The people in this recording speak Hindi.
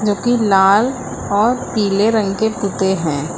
जो कि लाल और पीले रंग के पुते हैं।